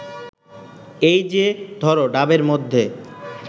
এই যে ধর ডাবের মধ্যে